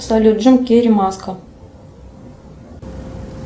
салют джим керри маска